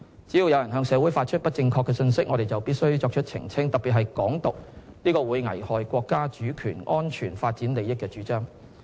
只要有人向社會發放不正確信息，我們就必須作出澄清，特別是"港獨"這個會危害國家主權、安全、發展利益的主張。